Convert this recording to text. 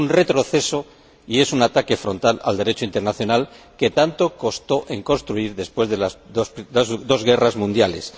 Es un retroceso y es un ataque frontal al Derecho internacional que tanto costó construir después de las dos guerras mundiales.